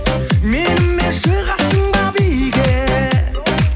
менімен шығасың ба биге